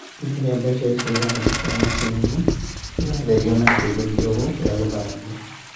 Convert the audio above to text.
Rĩrĩa mbeca icio irahĩtokera macini-inĩ , iratherio na kĩndũ kĩrũgũ gĩa gũthambia (sanitizer) 9.